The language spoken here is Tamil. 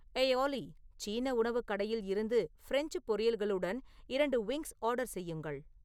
ஏய் ஆலி சீன உணவுக் கடையில் இருந்து ஃபிரெஞ்ச் பொரியல்களுடன் இரண்டு விங்ஸ் ஆர்டர் செய்யுங்கள்